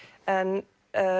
en